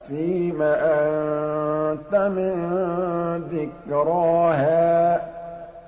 فِيمَ أَنتَ مِن ذِكْرَاهَا